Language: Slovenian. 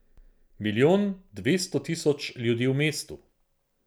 Milijon dvesto tisoč ljudi v mestu.